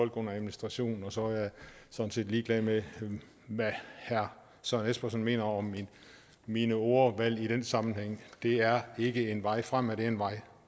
under administration og så er jeg sådan set ligeglad med hvad herre søren espersen mener om mit ordvalg i den sammenhæng det er ikke en vej frem men en vej